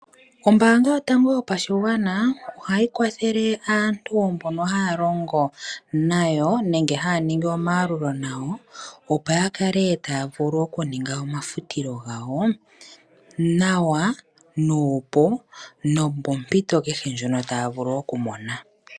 Ombaanga yotango yopashigwana ohayi kwathele aantu mbono haya longo nayo nenge haya ningi omayalulo nayo. Opo ya kale taya vulu oku ninga omafutilo gawo nawa nuupu nopo mpito keke ndjono taya vulu oku mona.